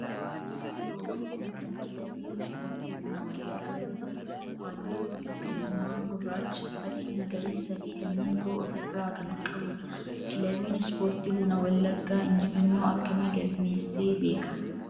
Loogoon kun kan kilabii ispoortii buna wallaggaa yoo ta'u,, halluu akka diimaa, gurraacha, adii, magariisaa fi kanneen biroo of irraa kan qabudha. Kilabiin ispoortii buna wallaggaa injifannoo akkamii galmeessee beeka?